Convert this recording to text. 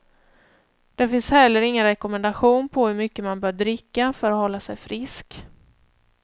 Det finns heller ingen rekommendation på hur mycket man bör dricka för att hålla sig frisk.